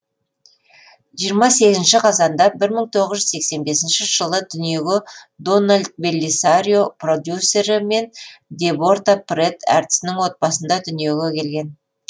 жиырма сегізінші қазанда бір мың тоғыз жүз сексен бесінші жылы дүниеге дональд беллисарио продюссері мен деборта прэтт әртісінің отбасында дүниеге келген